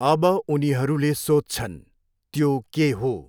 अब उनीहरूले सोध्छन्, त्यो के हो?